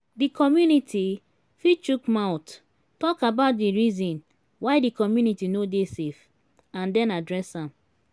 di community fit chook mouth talk about di reason why di community no dey safe and then address am